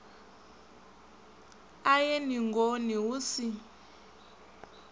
a ye ningoni hu si